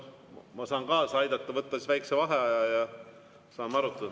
Ma saan kaasa aidata, võtta väikese vaheaja ja saame arutada.